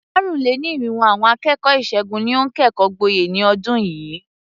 Àrùn-lé-ní-irínwó àwọn akẹ́kọ̀ọ́ ìṣègùn ni ó kẹ́kọ̀ọ́ gboyè ní ọdún yìí.